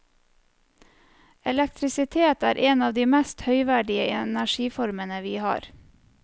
Elektrisitet er en av de mest høyverdige energiformene vi har.